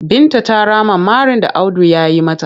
Binta ta rama marin da Audu ya yi mata.